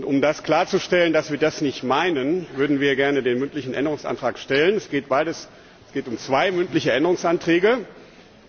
Um klarzustellen, dass wir das nicht meinen, würden wir gerne zwei mündliche Änderungsanträge stellen.